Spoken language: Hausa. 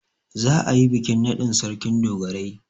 Za'a yi bikin naɗin Sarkin dogarai.